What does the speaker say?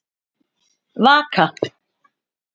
Vaka